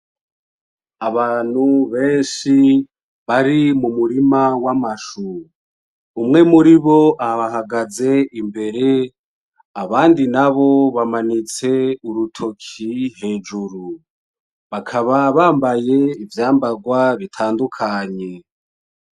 Abantu benshi bari mumurima w'amashu, umwe muri bo abahagaze imbere abandi nabo bamanitse urutoki hejuru, bakaba bambaye ivyambagwa bitandukanye.